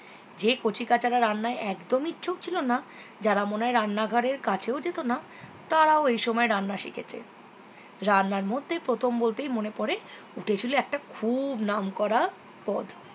যে কচিকাচারা রান্নায় একদমই ইচ্ছুক ছিল না যারা মনে হয় রান্না ঘরের কাছেও যেত না তারাও এই সময় রান্না শিখেছে রান্নার মধ্যে প্রথম বলতেই মনে পরে উঠেছিল একটা খুব নামকরা পদ